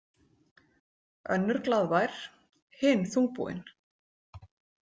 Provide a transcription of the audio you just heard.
Önnur glaðvær, hin þungbúin.